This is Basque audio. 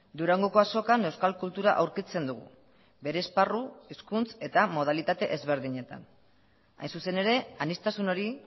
durangoko azokan euskal kultura aurkitzen dugu bere esparru hizkuntz eta modalitate ezberdinetan hain zuzen ere aniztasun hori